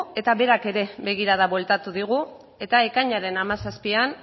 eta berak ere begirada bueltatu digu eta ekainaren hamazazpian